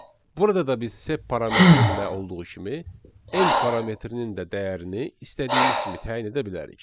Burada da biz sep parametrində olduğu kimi n parametrinin də dəyərini istədiyimiz kimi təyin edə bilərik.